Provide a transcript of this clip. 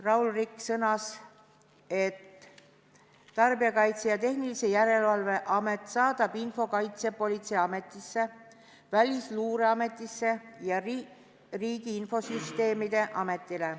Raul Rikk sõnas, et Tarbijakaitse ja Tehnilise Järelevalve Amet saadab info Kaitsepolitseiametile, Välisluureametile ja Riigi Infosüsteemi Ametile.